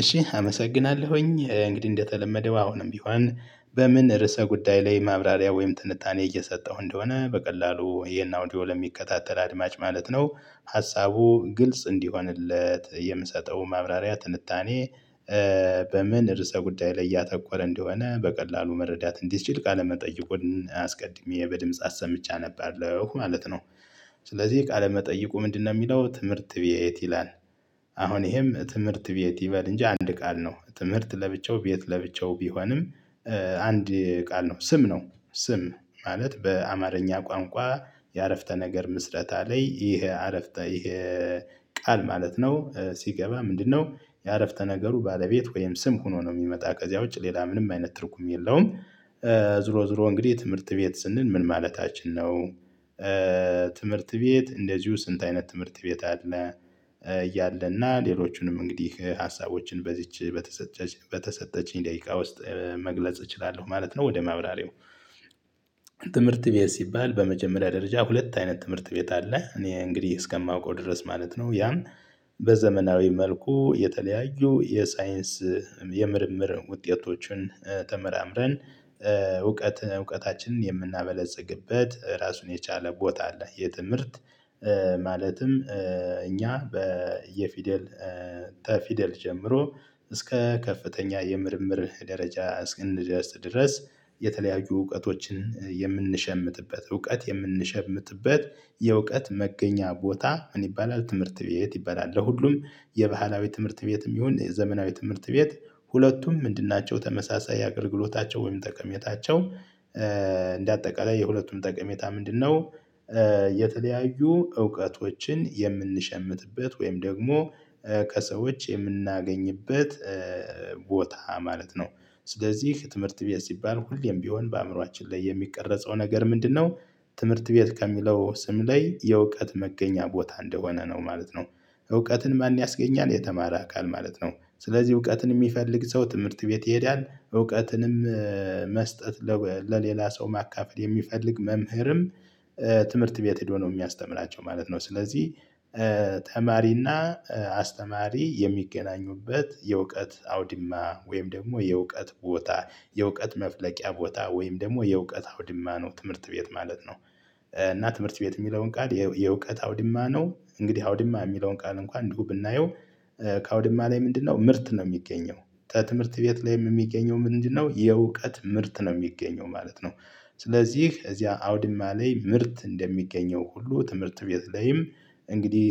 እሺ አመሰግናለሁኝ እንግዲህ እንደተለመደው አሁንም ቢሆን በምን ርዕሰ ጉዳይ ላይ ማብራሪያ ወይም ትንታኔ እየሰጠሁ እንደሆነ በቀላሉ ይሄን አውዲዮ ለሚከታተል አድማጭ ማለት ነው። ሀሳቡ ግልጽ እንዲሆንለት የምሰጠው ማብራሪያ ትንታኔ። በምን ርዕሰ ጉዳይ ላይ ያተኮረ እንደሆነ በቀላሉ መረዳት እንዲችል ቃለ መጠይቁን አስቀድሜ በድምጽ አሰምቼ አነባለሁ ማለት ነው። ስለዚህ የቃለ መጠይቁ ምንድነው ሚለው ትምህርት ቤት ይላል። አሁን ይሄም ትምህርት ቤት ይበል እንጂ አንድ ቃል ነው ትምህርት ለብቻው ቤት ለብቻው ቢሆንም። አንድ ቃል ነው ስም ነው ስም ማለት በአማርኛ ቋንቋ። የአረፍተ ነገር ምስረታ ላይ ይሄ አረፍተ ይሄ። ቃል ማለት ነው ሲገባ ምንድነው የአረፍተ ነገሩ ባለቤት ወይም ስም ሆኖ ነው ሚመጣ ከዚያ ውጭ ሌላ ምንም አይነት ትርጉም የለውም። ዙሮ ዙሮ እንግዲህ ትምህርት ቤት ስንል ምን ማለታችን ነው? ትምህርት ቤት እንደዚሁ ስንት አይነት ትምህርት ቤት አለ? እያለና ሌሎቹንም እንግዲህ ሀሳቦችን በዚች በተሰጠች በተሰጠችኝ ደቂቃ ውስጥ መግለጽ እችላለሁ ማለት ነው ወደ ማብራሪያው። ትምህርት ቤት ሲባል በመጀመሪያ ደረጃ ሁለት አይነት ትምህርት ቤት አለ እኔ እንግዲህ እስከማውቀው ድረስ ማለት ነው። ያን በዘመናዊ መልኩ የተለያዩ የሳይንስ የምርምር ውጤቶችን ተመራምረን እውቀት እውቀታችንን የምናበለጽግበት ራሱን የቻለ ቦታ አለ። የትምህርት ማለትም እኛ በየፊደል ተፊደል ጀምሮ እስከ ከፍተኛ የምርምር ደረጃ እስክንደርስ ድረስ። የተለያዩ እውቀቶችን የምንሸምትበት እውቀት የምንሸምትበት የእውቀት መገኛ ቦታ ምን ይባላል ትምህርት ቤት ይባላል። ለሁሉም የባህላዊ ትምህርት ቤትም ይሁን የዘመናዊ ትምህርት ቤት ሁለቱም ምንድን ናቸው ተመሳሳይ አገልግሎታቸው ወይም ጠቀሜታቸው። እንደ አጠቃላይ የሁለቱም ጠቀሜታ ምንድነው? የተለያዩ እውቀቶችን የምንሸምትበት ወይም ደግሞ ከሰዎች የምናገኝበት ቦታ ማለት ነው። ስለዚህ ትምህርት ቤት ሲባል ሁሌም ቢሆን በአእምሮአችን ላይ የሚቀረጸው ነገር ምንድነው? ትምህርት ቤት ከሚለው ስም ላይ የእውቀት መገኛ ቦታ እንደሆነ ነው ማለት ነው። እውቀትን ማን ያስገኛል የተማረ አካል ማለት ነው። ስለዚህ እውቀትን ሚፈልግ ሰው ትምህርት ቤት ይሄዳል እውቀትንም። መስጠት ለሌላ ሰው ማካፈል የሚፈልግ መምህርም ትምህርት ቤት ሄዶ ነው የሚያስተምራቸው ማለት ነው ስለዚህ። ተማሪና አስተማሪ የሚገናኙበት የእውቀት አውዲማ ወይም ደግሞ የእውቀት ቦታ የእውቀት መፍለቂያ ቦታ ወይም ደግሞ የእውቀት አውዲማ ነው ትምህርት ቤት ማለት ነው። እና ትምህርት ቤት ሚለውን ቃል የእውቀት አውድማ ነው እንግዲህ አውድማ የሚለውን ቃል እንኳን እንዲሁ ብናየው። ከአውድማ ላይ ምንድነው ምርት ነው ሚገኘው? ተ ትምህርት ቤት ላይም እሚገኘው ምንድነው የእውቀት ምርት ነው ሚገኘው ማለት ነው። ስለዚህ እዚያ አውድማ ላይ ምርት እንደሚገኘው ሁሉ ትምህርት ቤት ላይም እንግዲህ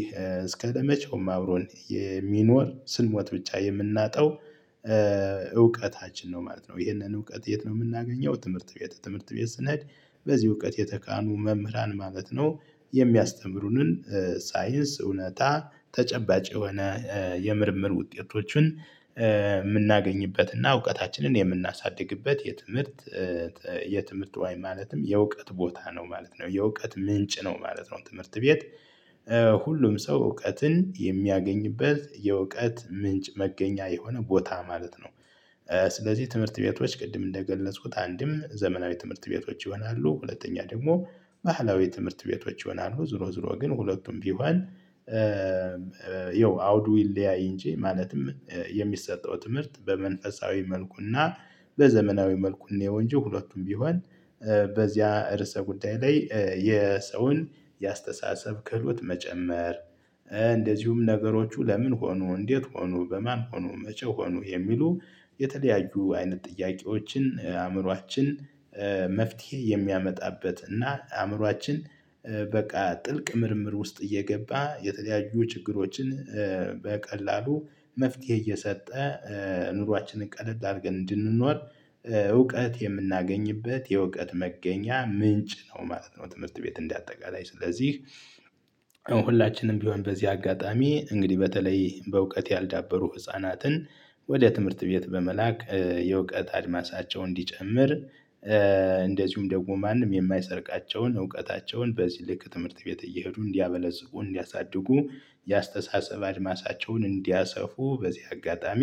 እስከ ለመቼውም አብሮን የሚኖር ስንሞት ብቻ የምናጣው። እውቀታችን ነው ማለት ነው። ይህንን እውቀት የት ነው የምናገኘው ትምህርት ቤት ትምህርት ቤት ስንሄድ። በዚህ እውቀት የተካኑ መምህራን ማለት ነው። የሚያስተምሩንን ሳይንስ እውነት ተጨባጭ የሆነ የምርምር ውጤቶችን ምናገኝበት እና እውቀታችንን የምናሳድግበት የትምህርት የትምህርት ዋይ ማለትም የእውቀት ቦታ ነው ማለት ነው የእውቀት ምንጭ ነው ማለት ነው ትምህርት ቤት። ሁሉም ሰው እውቀትን የሚያገኝበት የእውቀት ምንጭ መገኛ የሆነ ቦታ ማለት ነው። ስለዚህ ትምህርት ቤቶች ቅድም እንደገለጽኩት አንድም ዘመናዊ ትምህርት ቤቶች ይሆናሉ ሁለተኛ ደግሞ ባህላዊ ትምህርት ቤቶች ይሆናሉ። ዝሮ ዝሮ ግን ሁለቱም ቢሆን። ያው አውዱ ይለያይ ኢንጂ ማለትም የሚሰጠው ትምህርት በመንፈሳዊ መልኩና በዘመናዊ መልኩ እንየው እንጂ ሁለቱም ቢሆን በዚያ እርስ ጉዳይ ላይ የሰውን የአስተሳሰብ ክህሎት መጨመር። እንደዚሁም ነገሮቹ ለምን ሆኖ እንዴት ሆኖ በማን ሆኖ መቸ ሆኖ የሚሉ። የተለያዩ አይነት ጥያቄዎችን አእምሮአችን መፍትሄ የሚያመጣበት እና አእምሮአችን በቃ ጥልቅ ምርምር ውስጥ እየገባ የተለያዩ ችግሮችን በቀላሉ መፍትሄ እየሰጠ ኑሯችንን ቀለል አርገን እንድንኖር። እውቀት የምናገኝበት የእውቀት መገኛ ምንጭ ነው ማለት ነው ትምህርት ቤት እንዳጠቃላይ ስለዚህ። ያው ሁላችንም ቢሆን በዚህ አጋጣሚ እንግዲህ በተለይ በእውቀት ያልዳበሩ ህፃናትን ወደ ትምህርት ቤት በመላክ የእውቀት አድማሳቸው እንዲጨምር። እንደዚሁም ደግሞ ማንም የማይሰርቃቸውን እውቀታቸውን በዚህ ልክ ትምህርት ቤት እየሄዱ እንዲያበለጽጉ እንዲያሳድጉ የአስተሳሰብ አድማሳቸውን እንዲያሰፉ በዚህ አጋጣሚ።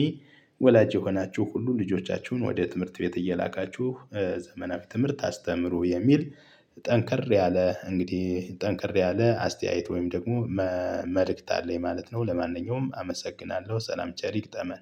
ወላጅ የሆናችሁ ሁሉ ልጆቻችሁን ወደ ትምህርት ቤት እየላካችሁ ዘመናዊ ትምህርት አስተምሩ የሚል ጠንከር ያለ እንግዲህ ጠንከር ያለ አስተያየት ወይም ደግሞ መልእክት አለኝ ማለት ነው። ለማንኛውም አመሰግናለሁ ሰላም ቸር ይግጠመን